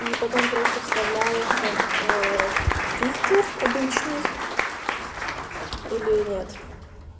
и потом просто вставляешь как фильтр обычный или нет